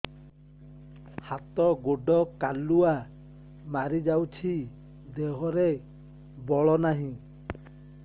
ହାତ ଗୋଡ଼ କାଲୁଆ ମାରି ଯାଉଛି ଦେହରେ ବଳ ନାହିଁ